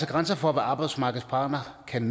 grænser for hvad arbejdsmarkedets parter kan